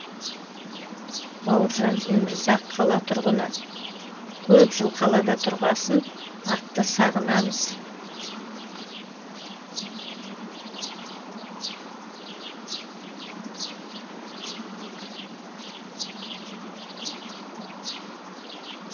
бауыржан өмірзақ қала тұрғыны көп жыл қалада тұрғасын атты сағынамыз